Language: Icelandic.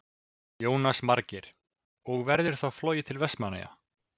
Jónas Margeir: Og verður þá flogið til Vestmannaeyja?